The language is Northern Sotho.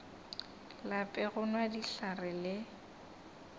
lape go nwa dihlare le